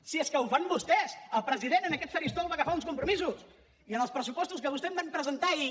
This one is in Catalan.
si és que ho fan vostès el president en aquest faristol va agafar uns compromisos i en els pressupostos que vostès van presentar ahir